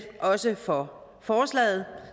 også for forslaget